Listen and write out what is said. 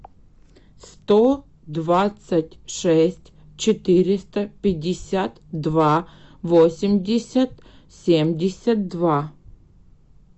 сто двадцать шесть четыреста пятьдесят два восемьдесят семьдесят два